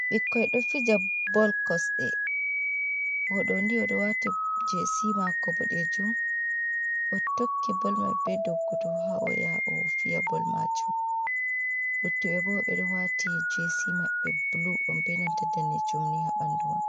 "Ɓikkoi do fija bol" kosɗe oɗo ni oɗo wati jesi mako boɗejum oɗo tokki bol maɓɓe ɓe doggudu ha oyaha ofiya bol majum luttuɓe bo ɓeɗo wati jesi maɓɓe bulu benanta danejum ha ɓandu maɓɓe.